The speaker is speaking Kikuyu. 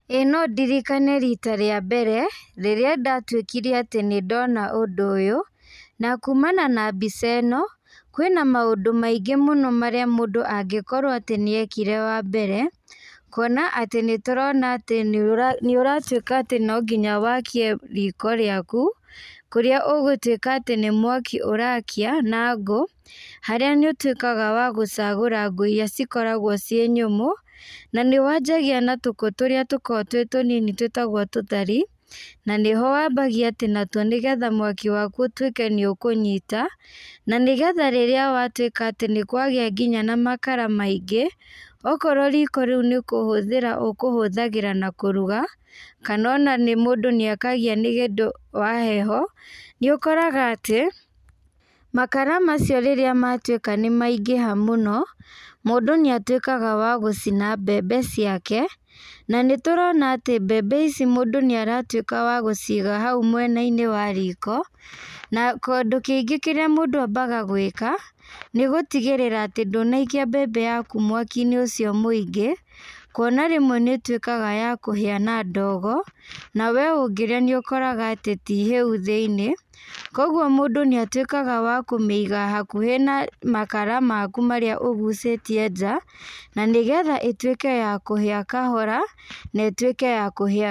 Ĩĩ no ndirikane rita rĩa mbere, rĩrĩa ndatuĩkire atĩ nĩndona ũndũ ũyũ, na kumana na mbica ĩno, kwĩna maũndũ maingĩ mũno marĩa mũndũ angĩkorwo atĩ nĩekire wa mbere, kuona atĩ nĩtũrona atĩ nĩũra nĩũratuĩka atĩ nonginya wakie riko rĩaku, kũrĩa ũgũtuĩka atĩ nĩmwaki ũrakia, na ngũ, harĩa nĩũtuĩkaga wa gũcagũra ngũ iria cikoragwo ciĩ nyũmũ, na nĩwanjagia na tũkũ tũrĩa tũkoragwo twĩ tũnini twĩtagwo tũthari, na nĩho wambagia natuo nĩgetha mwaki waku ũtuĩke nĩ ũkũnyita, na nĩgetha rĩrĩa watuĩka atĩ nĩkwagia nginya na makara maingĩ, okorwo riko rĩũ nĩkũhũthĩra ũkũhũthagĩra na kũruga, kana ona nĩ mũndũ nĩakagia nĩũndũ wa heho, nĩũkoraga atĩ, makara macio rĩrĩa matuĩka nĩmaingĩha mũno, mũndũ nĩatuĩkaga wa gũcina mbembe ciake, na nĩtũrona atĩ mbembe ici mũndũ nĩaratuĩka wa gũciga hau mwenainĩ wa riko, na kũndũ kĩngĩ kĩrĩa mũndũ ambaga gwĩka, nĩgũtigĩrĩra atĩ ndũnaikia mbembe yaku mwakinĩ ũcio mũingĩ, kuona rĩmwe nĩĩtuĩkaga ya kũhĩa na ndogo, na we ũngĩrĩa nĩũkoraga atĩ tihĩu thĩinĩ, koguo mũndũ nĩatuĩkaga wa kũmĩiga hakuhĩ na makara maku marĩa ũgucĩtie nja, na nĩgetha ĩtuĩke ya kũhĩa kahora, na ĩtuĩke ya kũhĩa.